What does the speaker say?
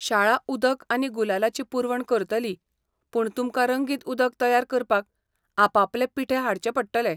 शाळा उदक आनी गुलालाची पुरवण करतली, पूण तुमकां रंगीत उदक तयार करपाक आपआपले पिठे हाडचे पडटले.